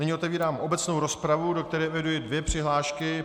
Nyní otevírám obecnou rozpravu, do které eviduji dvě přihlášky.